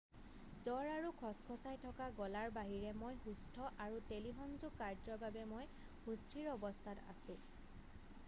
"""জ্বৰ আৰু খচখচাই থকা গলাৰ বাহিৰে মই সুস্থ আৰু টেলিসংযোগ কাৰ্যৰ বাবে মই সুস্থিৰ অৱস্থাত আছোঁ।""